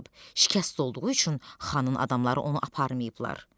Şikəst olduğu üçün xanın adamları onu aparmayıblar.